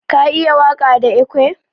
Ka iya waka da ekwe?